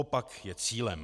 Opak je cílem.